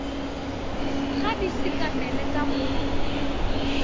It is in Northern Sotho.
ga di sekamele ka go